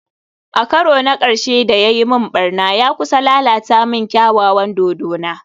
A karo na karshe da ya yi min barna, ya kusa lalata min kyawawan dodona